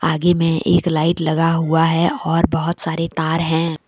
आगे में एक लाइट लगा हुआ है और बहुत सारे तार हैं ।